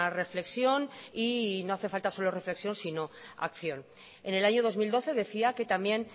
reflexión y no hace falta solo reflexión sino acción en el año dos mil doce decía que también